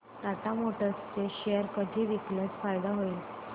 Tata motors चे share कधी विकल्यास फायदा होईल